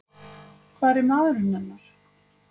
Hvar er maðurinn hennar?